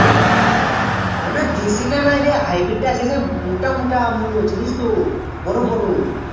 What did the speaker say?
না না দেশীটা নাইরে Hybrid টা আছে সেমোটা মোটা মুলো চিনিস তো বড়ো বড়ো